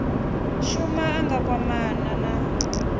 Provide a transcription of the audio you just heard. shuma a nga kwamana na